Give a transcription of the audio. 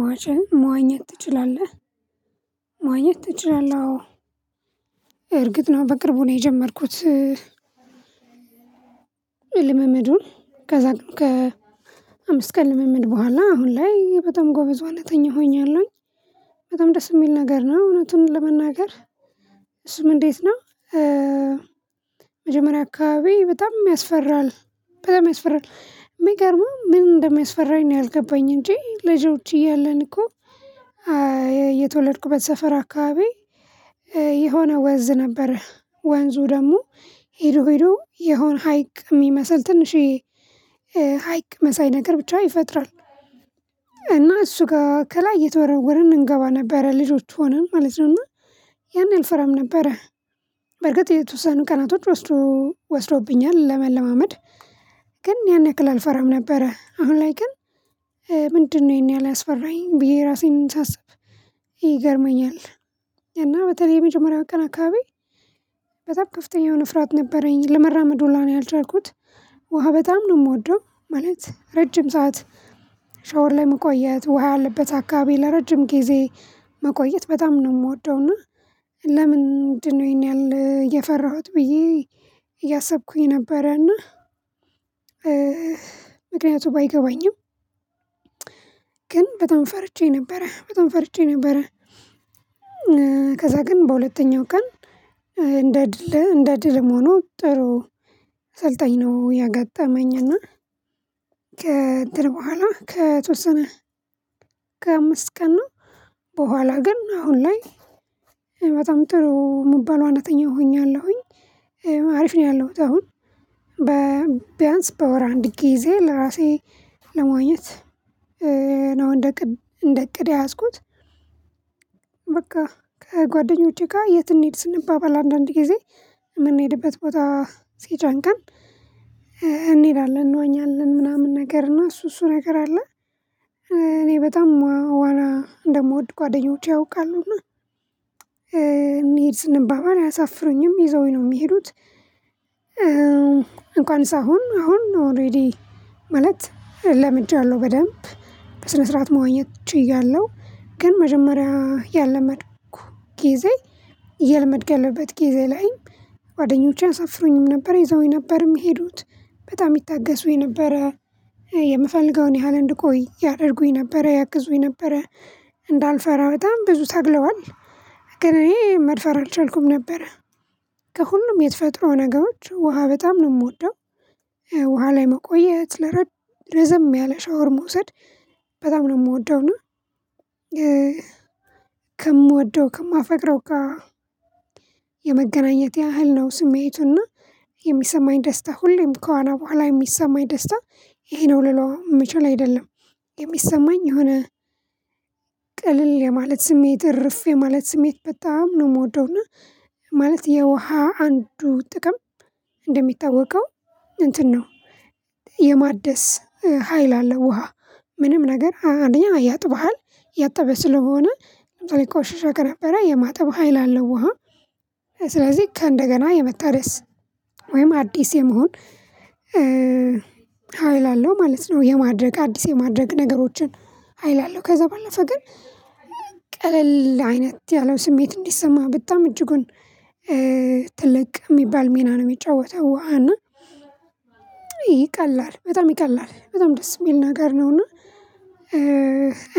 ማች መዋኘት ትችላለህ መዋኘት ትችላለህ? አዎ እርግጥ ነው በቅርቡ ነው የጀመርኩት። ልምምዱን ከዛ ግን ከ አምስት ቀን ልምምድ በኋላ አሁን ላይ በጣም ጎበዝ ዋናተኛ ሆኛለሁኝ። በጣም ደስ የሚል ነገር ነው እውነቱን ለመናገር። እሱም እንዴት ነው? መጀመሪያ አካባቢ በጣም ያስፈራል። በጣም ያስፈራል የሚገርመው ምን እንደሚያስፈራኝ ነው ያልገባኝ እንጂ ልጆች እያለን እኮ እየተወለድኩበት ሰፈር አካባቢ የሆነ ወንዝ ነበር። ወንዙ ደግሞ ሄዶ ሄዶ የሆነ ሀይቅ የሚመስል ትንሽዬ ሀይቅ መሳይ ነገር ብቻ ይፈጥራል። እና እሱ ጋር ከላይ እየተወረወርን እንገባ ነበረ ልጆች ሆነን ማለት ነውና። ያን አልፈራም ነበረ። በርግጥ የተወሰኑ ቀናቶች ወስዶ ወስዶብኛል ለመለማመድ ግን ያን ያክል አልፈራም ነበረ። አሁን ላይ ግን ምንድነው? ይሄን ያህል ያስፈራኝ ብዬ ራሴን ሳስብ ይገርመኛል። እና በተለይ የመጀመሪያው ቀን አካባቢ በጣም ከፍተኛ የሆነ ፍርሃት ነበረኝ ለመራመድ ሁላ ነው ያልቻልኩት። ውሃ በጣም ነው የምወደው ማለት ረጅም ሰዓት ሻወር ላይ መቆየት ውሃ ያለበት አካባቢ ለረጅም ጊዜ መቆየት በጣም ነው የምወደው። እና ለምንድነው ይሄን ያህል እየፈራሁት ብዬ እያሰብኩኝ ነበረና። ምክንያቱ ባይገባኝም ግን በጣም ፈርቼ ነበረ በጣም ፈርቼ ነበረ። ከዛ ግን በሁለተኛው ቀን እንደ ድል እንደዕድልም ሆኖ ጥሩ ሰልጣኝ ነው ያገጠመኝ። እና ከእንትን በኋላ ከተወሰነ ከአምስት ቀን ነው በኋላ ግን አሁን ላይ በጣም ጥሩ የምባል ዋናተኛ ሆኛለሁኝ። አሪፍ ነው ያለሁት አሁን በቢያንስ በወር አንድ ጊዜ ለራሴ ለመዋኘት ነው እንደ እቅድ እንደ እቅድ የያዝኩት። በቃ ከጓደኞቼ ጋር የት እንሂድ ስንባባል አንዳንድ ጊዜ የምንሄድበት ቦታ ሲጨንቀን እንሄዳለን እንወኛለን ምናምን ነገር እና እሱ እሱ ነገር አለ። እኔ በጣም ዋና እንደምወድ ጓደኞቼ ያውቃሉና ያውቃሉና እንሂድ ስንባባ አያሳፍሩኝም ይዘውኝ ነው የሚሄዱት። እንኳንስ አሁን አሁን ኦሬዲ ማለት ለምጃለሁ በደንብ በስነ ስርዓት መዋኘት ችያለሁ። ግን መጀመሪያ ያለመድኩ ጊዜ እየለመድኩ ያለበት ጊዜ ላይ ጓደኞቼን አያሳፍሩኝም ነበር ይዘውኝ ነበር የሚሄዱት በጣም ይታገሱኝ ነበር። የምፈልገውን ያህል እንድቆይ ያደርጉኝ ነበረ ያግዙኝ ነበረ እንዳልፈራ በጣም ብዙ ታግለዋል ገና እኔ መድፈር አልቻልኩም ነበር። ከሁሉም የተፈጥሮ ነገሮች ውሃ በጣም ነው የምወደው። ውሃ ላይ መቆየት ለረዘም ያለ ሻወር መውሰድ በጣም ነው የምወደው። እና ከምወደው ከማፈቅረው ጋር የመገናኘት ያህል ነው ስሜቱና የሚሰማኝ ደስታ ሁሌም ከዋና በኋላ የሚሰማኝ ደስታ ይሄ ነው ልለው የምችል አይደለም የሚሰማኝ የሆነ ቅልል የማለት ስሜት እረፍ የማለት ስሜት በጣም ነው የምወደው። እና ማለት የውሃ አንዱ ጥቅም እንደሚታወቀው እንትን ነው። የማደስ ሀይል አለ ውሃ ምንም ነገር አንደኛ ያጥብሃል እያጠበ ስለሆነ ለምሳሌ ቆሻሻ ከነበረ የማጠብ ሀይል አለው። ውሃ ስለዚህ ከእንደገና የመታደስ ወይም አዲስ የመሆን ሀይል አለው ማለት ነው። የማድረግ አዲስ የማድረግ ነገሮችን ሀይል አለው። ከዛ ባለፈ ግን ቀለል አይነት ያለው ስሜት እንዲሰማ በጣም እጅጉን ትልቅ የሚባል ሚና ነው የሚጫወተው ውሃ እና ይቀላል በጣም ይቀላል በጣም ደስ የሚል ነገር ነውና።